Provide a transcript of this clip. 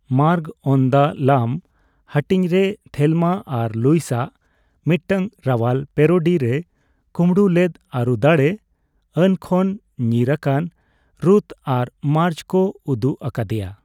ᱢᱟᱨᱜ ᱚᱱ ᱫᱟ ᱞᱟᱢ ᱦᱟᱹᱴᱤᱧᱨᱮ ᱛᱷᱮᱞᱢᱟ ᱟᱨ ᱞᱩᱭᱤᱥᱟᱜ ᱢᱤᱫᱴᱟᱝ ᱨᱟᱣᱟᱞ ᱯᱮᱨᱳᱰᱤ ᱨᱮ ᱠᱩᱸᱵᱲᱩ ᱞᱮᱫ ᱟᱹᱨᱩᱫᱟᱲᱮ ᱟᱹᱱ ᱠᱷᱚᱱ ᱧᱤᱨ ᱟᱠᱟᱱ ᱨᱩᱛᱷ ᱟᱨ ᱢᱟᱨᱡ ᱠᱚ ᱩᱫᱩᱜ ᱟᱠᱟᱫᱮᱭᱟ ᱾